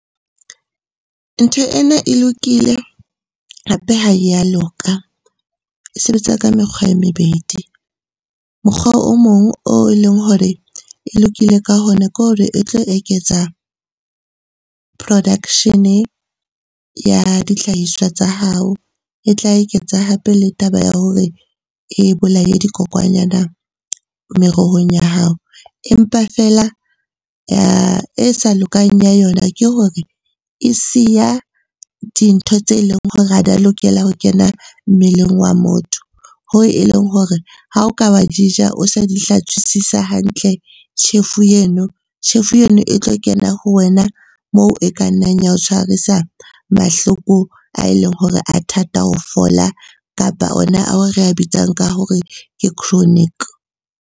Ntho ena e lokile hape ha ya loka, e sebetsa ka mekgwa e mebedi. Mokgwa o mong o leng hore e lokile ka hona, ke hore e tlo eketsa production-e ya dihlahiswa tsa hao. E tla eketsa hape le taba ya hore e bolaye dikokwanyana merohong ya hao. Empa feela e sa lokang ya yona ke hore e siya dintho tse leng hore ha di a lokela ho kena mmeleng wa motho. Hoo e leng hore ha o ka wa di ja o sa di hlatswisise hantle, tjhefu eno e tlo kena ho wena moo e ka nnang ya o tshwarisa mahloko a e leng hore a thata ho fola, kapa ona ao re a bitsang ka hore ke chronic.